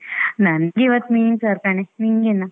ನಂಗೆ ಇವತ್ತು ಮೀನ್ ಸಾರ್ ಕಣೆ ನಿಂಗೇನು?